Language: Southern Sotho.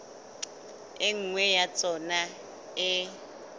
e nngwe ya tsona e